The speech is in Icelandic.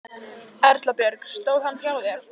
Erla Björg: Stóð hann hjá þér?